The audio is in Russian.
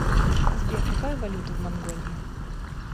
сбер какая валюта в монголии